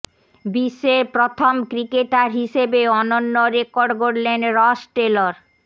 বিশ্বের প্রথম ক্রিকেটার হিসেবে অনন্য রেকর্ড গড়লেন রস টেলর